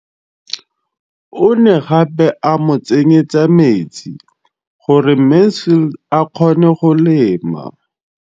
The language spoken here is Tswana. O ne gape a mo tsenyetsa metsi gore Mansfield a kgone go lema.